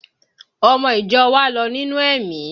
Ọmọ ìjọ wa lọ nínú ẹ̀mí